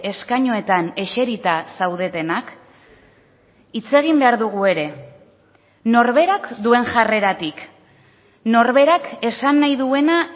eskainuetan eserita zaudetenak hitz egin behar dugu ere norberak duen jarreratik norberak esan nahi duena